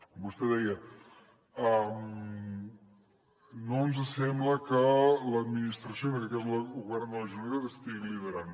vostè deia no ens sembla que l’administració en aquest cas el govern de la generalitat ho estigui liderant